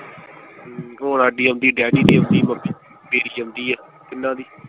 ਹੋਰ ਹਾਡੀ ਆਉਂਦੀ ਡੈਡੀ ਦੀ ਆਉਂਦੀ, ਮੇਰੀ ਆਉਂਦੀ ਆ ਤਿੰਨਾਂ ਦੀ।